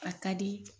A ka di